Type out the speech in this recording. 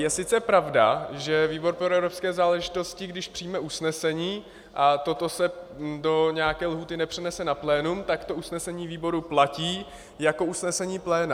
Je sice pravda, že výbor pro evropské záležitosti, když přijme usnesení a toto se do nějaké lhůty nepřenese na plénum, tak to usnesení výboru platí jako usnesení pléna.